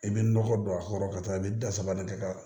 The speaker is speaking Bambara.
I bɛ nɔgɔ don a kɔrɔ ka taa i bɛ da sabali kɛ ka